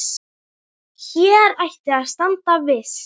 Hér ætti að standa viss.